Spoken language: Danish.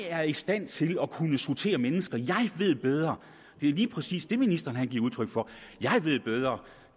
er i stand til at kunne sortere mennesker at han ved bedre det er lige præcis det ministeren giver udtryk for nemlig at han ved bedre